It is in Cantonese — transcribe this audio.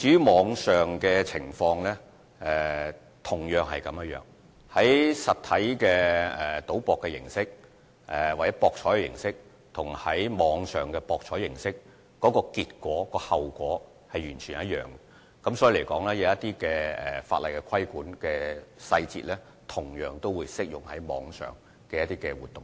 網上博彩的情況也一樣，由於實體賭博或網上博彩的結果或後果是完全一樣的，法例規管的細節同樣適用於網上活動。